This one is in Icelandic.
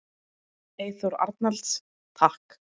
Eyþór Arnalds: Takk.